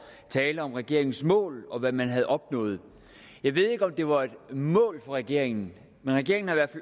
at tale om regeringens mål og hvad man havde opnået jeg ved ikke om det var et mål for regeringen men regeringen har i hvert